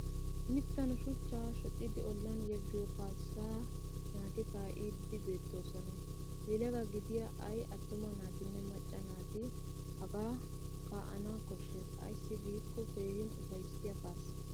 Mittan shuchchaa shocidi ollan yeggiyo kaassaa naati kaa'iiddi beettoosona. Yelaga gidiya ay attuma naatinne macca naati hagaa kaa'ana koshshes ayssi giikko keehin ufayssiya kaassa.